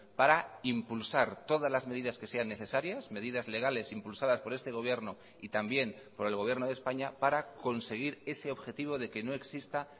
para impulsar todas las medidas que sean necesarias medidas legales impulsadas por este gobierno y también por el gobierno de españa para conseguir ese objetivo de que no exista